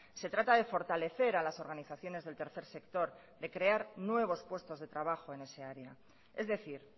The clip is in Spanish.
se trata de fortalecer a las organizaciones del tercer sector de crear nuevos puestos de trabajo en ese área es decir